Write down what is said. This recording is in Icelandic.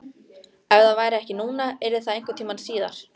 Ef það væri ekki núna yrði það einhvern tíma síðar.